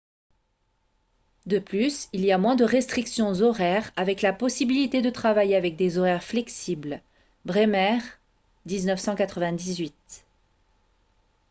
de plus il y a moins de restrictions horaires avec la possibilité de travailler avec des horaires flexibles. bremer 1998